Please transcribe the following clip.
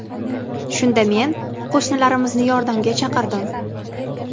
Shunda men qo‘shnilarimizni yordamga chaqirdim.